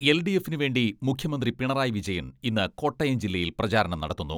എൽ.ഡി.എഫിനു വേണ്ടി മുഖ്യമന്ത്രി പിണറായി വിജയൻ ഇന്ന് കോട്ടയം ജില്ലയിൽ പ്രചാരണം നടത്തുന്നു.